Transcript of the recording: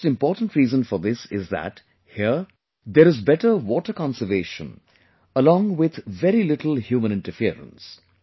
The most important reason for this is that here, there is better water conservation along with very little human interference